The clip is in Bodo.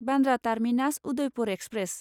Bandra terminus Udaipur express